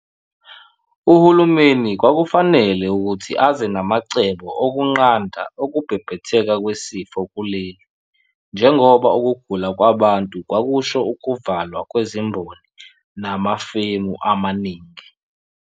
Uhulumeni kwakufanele ukuthi aze namacebo okunqanda ukubhebhetheka kwesifo kuleli njengoba ukugula kwabantu kwakusho ukuvalwa kwezimboni nama femu amaningi.